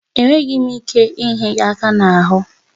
Enweghị m ike inye gị ịhịa aka n'ahụ